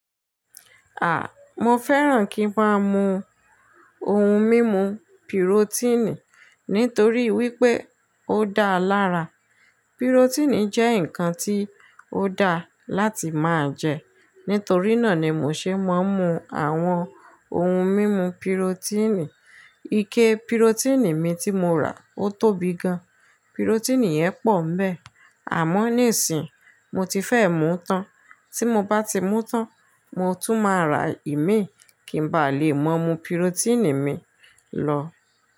À, mo fẹ́ràn kí ń máa mu ohun mímu pírotínì nítorí wípé ó dáa lára. Pírotínì jẹ́ ǹkan tí ó dáa láti máa jẹ. Nítorí náà ni mò ṣe máa ń mu àwọn ohun mímu pírotínì. Ike pírotínì mi tí mo rà ó tóbi gan. Pírotínì yẹn pọ̀ń nibẹ́ẹ̀, àmọ́ nísìí, mo ti fẹ́ mú tán. Tí mo bá ti mú tán, mo tún máa rà ìmíì kí n ba lè máa mu pírotínì mi lọ.